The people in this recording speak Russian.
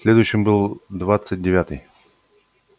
следующим был двадцать девятый